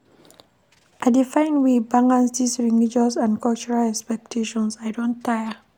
I dey find way balance dese religious and cultural expectations, I don tire.